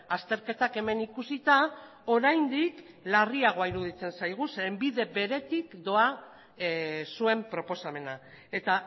azterketak hemen ikusita oraindik larriagoa iruditzen zaigu zeren bide beretik doa zuen proposamena eta